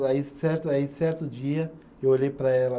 Aí certo, aí certo dia eu olhei para ela.